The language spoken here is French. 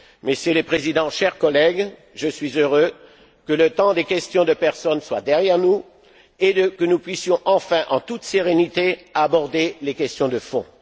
II. Monsieur le Président, chers collègues, je suis heureux que le temps des questions de personnes soit derrière nous et que nous puissions enfin, en toute sérénité, aborder les questions de